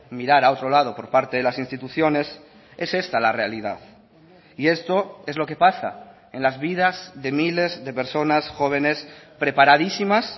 mirar a otro lado por parte de las instituciones es esta la realidad y esto es lo que pasa en las vidas de miles de personas jóvenes preparadísimas